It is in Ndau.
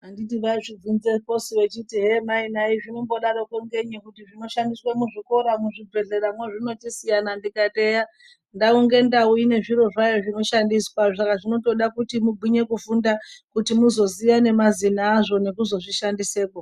Anditi vaizvivhunze posu vachiti hee Mai nhai zvinomboda roko ngenyi kuti zvinoshandiswe muzvikora muzvibhedhleya motisiyana ndikati eya ndaongoenda kune zviro zvayo zvindoshandiswa saka zvoda kuti mugwinye kufunda kuti muzoziya ngemazena azvo nokuzo zvishandise po.